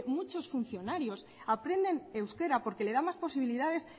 muchos funcionarios aprenden euskera porque le da más posibilidades